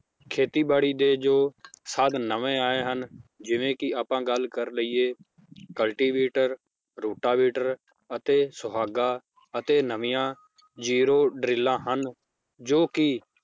ਖੇਤੀ ਬਾੜੀ ਦੇ ਜੋ ਸਾਧਨ ਨਵੇਂ ਆਏ ਹਨ ਜਿਵੇ ਕੀ ਆਪਾਂ ਗੱਲ ਕਰ ਲਇਏ Cultivator, ਰੋਟਾਵੇਟਰ ਅਤੇ ਸੁਹਾਗਾ ਅਤੇ ਨਵੀਆਂ zero ਡਰੀਲਾਂ ਹਨ ਜੋ ਕੀ